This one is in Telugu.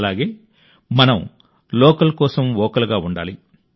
అలాగే మనం లోకల్ కోసం వోకల్గా ఉండాలి